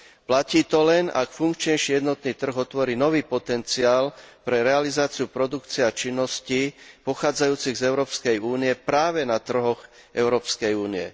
Platí to len, ak funkčnejší jednotný trh otvorí nový potenciál pre realizáciu produkcie a činností pochádzajúcich z Európskej únie, práve na trhoch Európskej únie.